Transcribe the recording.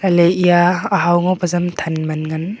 le eya ahow ngo pe jam than man ngan.